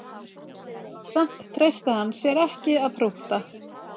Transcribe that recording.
Samt treysti hann sér ekki að prútta